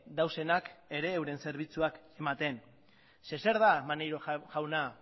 daudenak ere euren zerbitzuak ematen zeren eta zer da maneiro jauna